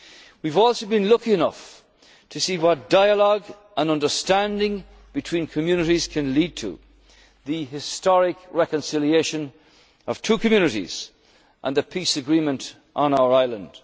of violence. We have also been lucky enough to see what dialogue and understanding between communities can lead to the historic reconciliation of two communities and the peace agreement